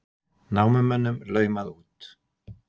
Námumönnum laumað út